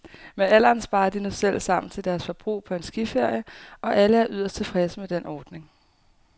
Med alderen sparer de nu selv sammen til deres forbrug på en skiferie, og alle er yderst tilfredse med den ordning.